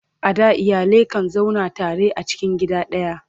a da iyalai kan zauna tare a cikin gida daya